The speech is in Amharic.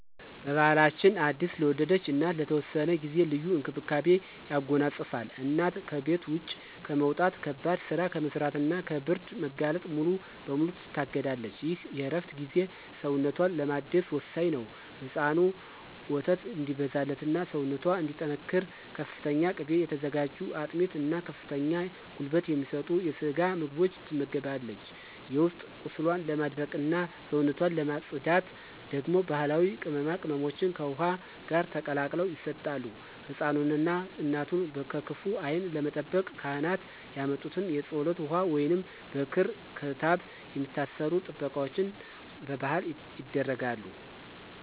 ባሕላችን አዲስ ለወለደች እናት ለተወሰነ ጊዜ ልዩ እንክብካቤን ያጎናጽፋል። እናት ከቤት ውጭ ከመውጣት፣ ከባድ ሥራ ከመሥራትና ከብርድ መጋለጥ ሙሉ በሙሉ ትታገዳለች። ይህ የእረፍት ጊዜ ሰውነቷን ለማደስ ወሳኝ ነው። ለሕፃኑ ወተት እንዲበዛላትና ሰውነቷ እንዲጠናከር በፍተኛ ቅቤ የተዘጋጁ አጥሚት እና ከፍተኛ ጉልበት የሚሰጡ የስጋ ምግቦች ትመገባለች። የውስጥ ቁስሏን ለማድረቅና ሰውነቷን ለማፅዳት ደግሞ ባሕላዊ ቅመማ ቅመሞች ከውኃ ጋር ተቀላቅለው ይሰጣሉ። ሕፃኑንና እናቱን ከክፉ ዓይን ለመጠበቅ ካህናት ያመጡት የፀሎት ውኃ ወይንም በክር/ክታብ የሚታሰሩ ጥበቃዎች በባሕል ይደረጋሉ።